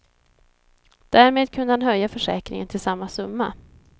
Därmed kunde han höja försäkringen till samma summa.